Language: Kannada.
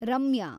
ರಮ್ಯಾ